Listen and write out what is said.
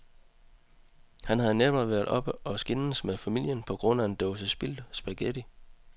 Han havde netop været oppe at skændes med familien på grund af en dåse spildt spaghetti.